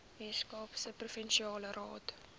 weskaapse provinsiale raad